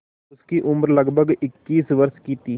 उसकी उम्र लगभग इक्कीस वर्ष की थी